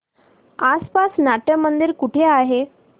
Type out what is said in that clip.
आसपास नाट्यमंदिर कुठे आहे